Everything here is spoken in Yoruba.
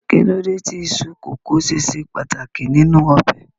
Kí ló dé tí iṣu kókò ṣe ṣe pàtàkì nínú ọbẹ̀?